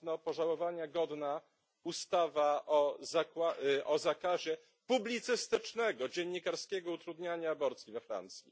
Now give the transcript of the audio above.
pożałowania godna ustawa o zakazie publicystycznego, dziennikarskiego utrudniania aborcji we Francji?